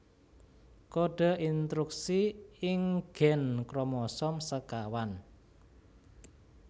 Kode intruksi ing gèn kromosom sékawan